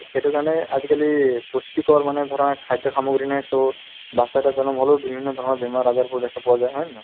সেইটোৰ কাৰণে আজিকালি পুষ্টিকৰ মানে ধৰা খাদ্য সামগ্ৰী নাই so batches এটা জনম হ'লেও বিভিন্ন ধৰণৰ বেমাৰ-আজাৰবোৰ দেখা পোৱা যায় হয় নে নহয়